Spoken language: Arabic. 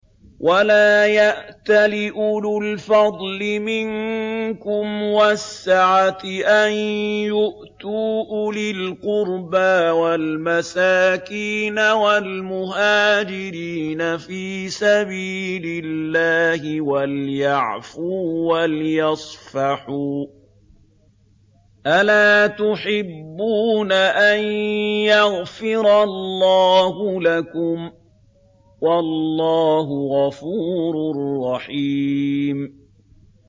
وَلَا يَأْتَلِ أُولُو الْفَضْلِ مِنكُمْ وَالسَّعَةِ أَن يُؤْتُوا أُولِي الْقُرْبَىٰ وَالْمَسَاكِينَ وَالْمُهَاجِرِينَ فِي سَبِيلِ اللَّهِ ۖ وَلْيَعْفُوا وَلْيَصْفَحُوا ۗ أَلَا تُحِبُّونَ أَن يَغْفِرَ اللَّهُ لَكُمْ ۗ وَاللَّهُ غَفُورٌ رَّحِيمٌ